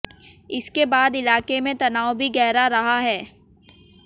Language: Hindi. इसके बाद इलाके में तनाव भी गहरा रहा है